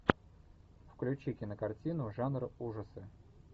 включи кинокартину жанр ужасы